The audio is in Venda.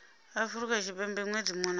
afrika tshipembe ṅwedzi muṅwe na